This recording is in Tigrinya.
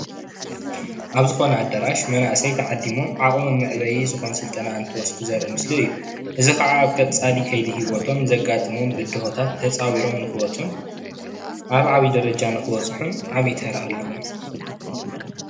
ኣብ ዝኮነ ኣዳራሽ መናእሰይ ተዓዲሞም ዓቅሞም መዕበይ ዝከውን ስልጠና እንትወስዱ ዘርኢ ምስሊ እዩ:: እዚ ከኣ ኣብ ቀፃሊ ከይዲ ሂወቶም ዘጋጥሞም ብድሆታት ተፃዊሮም ንክወፁ ኣብ ዓቢ ደረጃ ንክበፅሑን ዓቢ ተራ ኣለዎ::